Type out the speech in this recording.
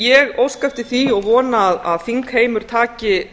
ég óska eftir því og vona að þingheimur taki